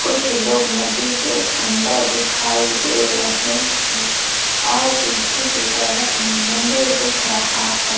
कुछ लोग नदी के अंदर दिखाई दे रहे है और पीछे की तरफ मंदिर दिखाई दे रहा है।